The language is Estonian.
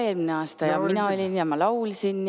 Mina olin ja ma laulsin.